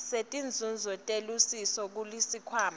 setinzuzo telusiso kusikhwama